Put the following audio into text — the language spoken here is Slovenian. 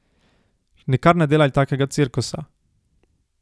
Nikar ne delaj takega cirkusa.